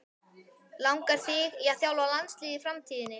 Langar þig til að þjálfa landsliðið í framtíðinni?